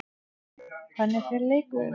Hvernig fer leikurinn?